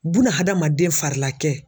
Buna hadamaden fari la kɛ.